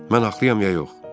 Mən haqlıyam ya yox?